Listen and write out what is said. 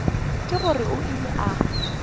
ke gore o ile a